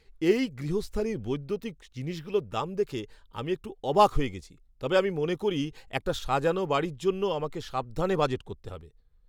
এই গৃহস্থালির বৈদ্যুতিক জিনিসগুলোর দাম দেখে আমি একটু অবাক হয়ে গেছি, তবে আমি মনে করি একটা সাজানো বাড়ির জন্য আমাকে সাবধানে বাজেট করতে হবে।